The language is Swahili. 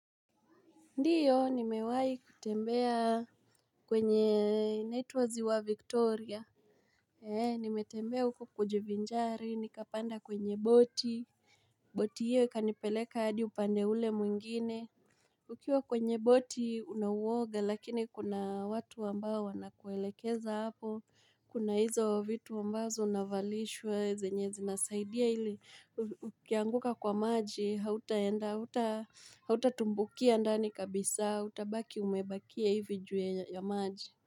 Ndiyo nimewai kutembea kwenye inaitwa ziwa Victoria eee nimetembea huko kujivinjari nikapanda kwenye boti Boti hiyo ikanipeleka hadi upande ule mwingine Ukiwa kwenye boti una uwoga, lakini kuna watu ambao wanakuelekeza hapo, kuna hizo vitu ambazo unavalishwa zenye zinasaidia ili ukianguka kwa maji, hautaenda, hautatumbukia ndani kabisa, utabaki umebakia hivi juu ya ya maji.